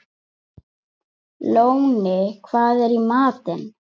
Lóni, hvað er í matinn?